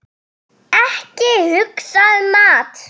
Ekki hugsa um mat!